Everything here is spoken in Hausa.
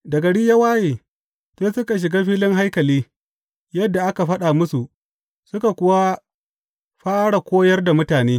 Da gari ya waye, sai suka shiga filin haikali, yadda aka faɗa musu, suka kuwa fara koyar da mutane.